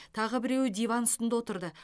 тағы біреуі диван үстінде отырды